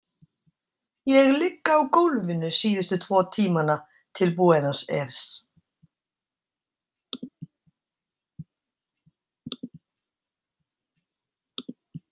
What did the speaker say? Ég ligg á gólfinu síðustu tvo tímana til Buenos Aires.